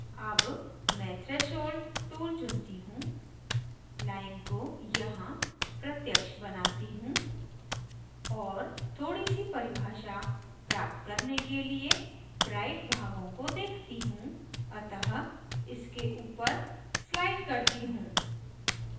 अब मैं threshold tool चुनती हूँ line को यहाँ प्रत्यक्ष बनाती हूँ और थोड़ी सी परिभाषा प्राप्त करने के लिए bright भागों को देखती हूँ अतः इसे ऊपर slide करती हूँ